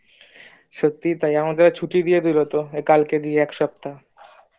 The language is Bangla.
সত্যিই তাই আমাদের আবার ছুটি দিয়েদিলো তো কালকে দিয়ে একসপ্তাহ